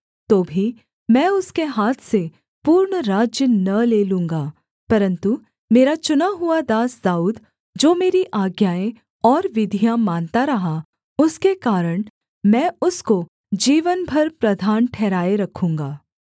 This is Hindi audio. तो भी मैं उसके हाथ से पूर्ण राज्य न ले लूँगा परन्तु मेरा चुना हुआ दास दाऊद जो मेरी आज्ञाएँ और विधियाँ मानता रहा उसके कारण मैं उसको जीवन भर प्रधान ठहराए रखूँगा